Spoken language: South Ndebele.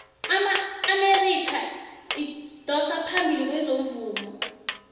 iamerika idosa phambili kezomvumo